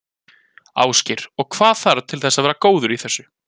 Ásgeir: Og hvað þarf til þess að vera góður í þessu?